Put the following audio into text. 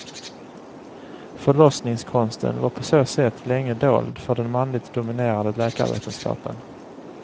Förlossningskonsten var på så sätt länge dold för den manligt dominerade läkarvetenskapen.